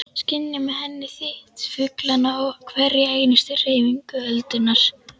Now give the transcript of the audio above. Skynja með henni þyt fuglanna og hverja einustu hreyfingu öldunnar.